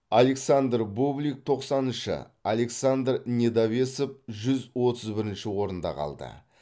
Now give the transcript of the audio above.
александр бублик тоқсаныншы александр недовесов жүз отыз бірінші орнында қалды